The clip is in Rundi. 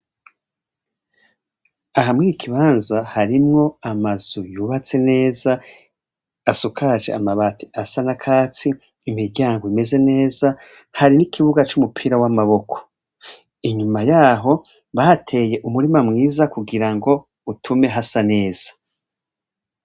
Aha mw'iki ikibanza harimwo amazu yubatse neza asakaje amabati asa n'akatsi, imiryango imeze neza, hari n'ikibuga c'umupira w'amaboko inyuma yaho bateye umurima mwiza kugira ngo utume hasa neza.